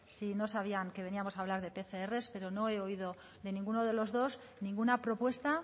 sé si no sabían que veníamos a hablar de pcr pero no he oído de ninguno de los dos ninguna propuesta